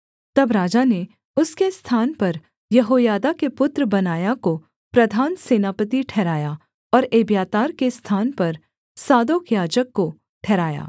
तब राजा ने उसके स्थान पर यहोयादा के पुत्र बनायाह को प्रधान सेनापति ठहराया और एब्यातार के स्थान पर सादोक याजक को ठहराया